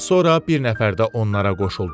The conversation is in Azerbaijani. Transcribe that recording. Az sonra bir nəfər də onlara qoşuldu.